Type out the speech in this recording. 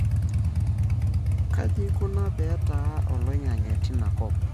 Kajiikuna petaa oloingange tinakop?